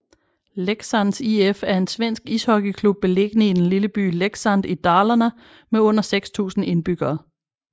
Leksands IF er en svensk ishockeyklub beliggende i den lille by Leksand i Dalarna med under 6000 indbyggere